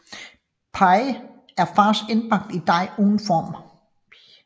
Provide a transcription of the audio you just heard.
Pie er fars indbagt i dej uden form